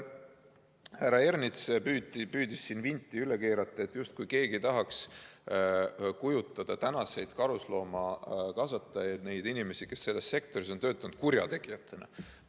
Härra Ernits püüdis siin vinti üle keerata, justkui keegi tahaks tänaseid karusloomakasvatajaid, neid inimesi, kes selles sektoris on töötanud, kurjategijatena kujutada.